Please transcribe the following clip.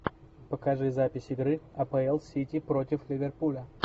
покажи запись игры апл сити против ливерпуля